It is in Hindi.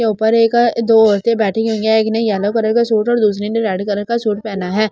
ये ऊपर एक दो औरते बेठी हुई है एक ने येलो कलर का सूट और दूसरे ने रेड कलर का सूट पहना है ।